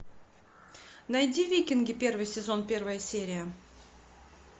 найди викинги первый сезон первая серия